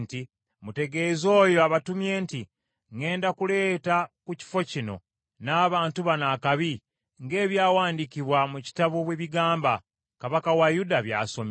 ‘Mutegeeze oyo abatumye nti ŋŋenda kuleeta ku kifo kino n’abantu bano akabi, ng’ebyawandiikibwa mu kitabo bwe bigamba, kabaka wa Yuda by’asomye.